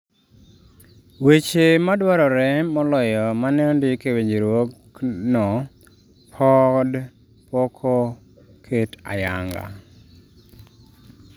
weche madwarore moloyo maneondik e winjruok no pod poko ket ayanga